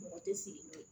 Mɔgɔ tɛ sigi bilen